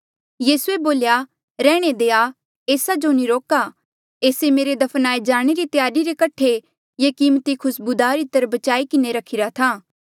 यीसूए बोल्या रैहणे देआ ऐस्सा जो नी रोका ऐस्से मेरे दफनाए जाणे री त्यारी रे कठे ये कीमती खुस्बूदार इत्र बचाई किन्हें रखिरा था